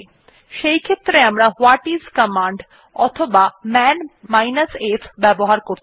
সেইক্ষেত্রে আমরা whatis command অথবা মান f ব্যবহার করতে পারি